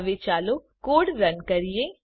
હવે ચાલો code run કરીએ